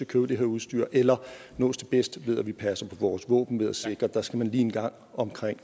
købe det her udstyr eller nås det bedst ved at vi passer på vores våben ved at sikre at der skal man lige en gang omkring